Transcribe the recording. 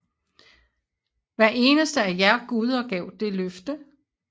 Hver eneste af jer guder gav det løfte